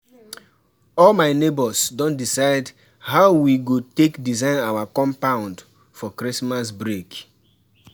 All my nebors don decide how we go take design our compound for Christmas break